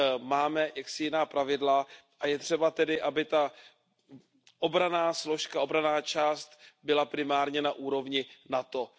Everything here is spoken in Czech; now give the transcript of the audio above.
Máme jaksi jiná pravidla a je třeba tedy, aby ta obranná složka, obranná část byla primárně na úrovni NATO.